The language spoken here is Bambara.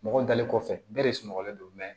Mɔgɔ dalen kɔfɛ bɛɛ de sunɔgɔlen don